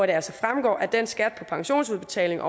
det altså fremgår at den skat på pensionsudbetalinger